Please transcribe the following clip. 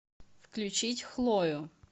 включить хлою